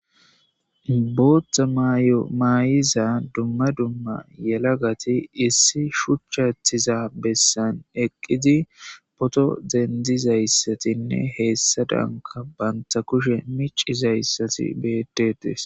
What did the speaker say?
booththa maayiza dumma dumma yelagati issi shuchchathiza bessan eqqidi poto dendizayssatinne heessa danka banta kushe micizayssati beetetes